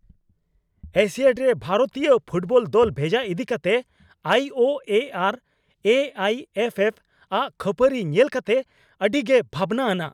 Asiad ᱨᱮ ᱵᱷᱟᱨᱚᱛᱤᱭᱚ football ᱫᱚᱞ ᱵᱷᱮᱡᱟ ᱤᱫᱤ ᱠᱟᱛᱮ ᱟᱭ ᱳ ᱮ ᱟᱨ ᱮ ᱟᱭ ᱮᱯᱷ ᱮᱯᱷ ᱼᱟᱜ ᱠᱷᱟᱹᱯᱟᱹᱨᱤ ᱧᱮᱞ ᱠᱟᱛᱮ ᱟᱹᱰᱤᱜᱮ ᱵᱷᱟᱵᱽᱱᱟ ᱟᱱᱟᱜ ᱾